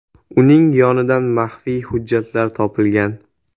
Uning yonidan maxfiy hujjatlar topilgan.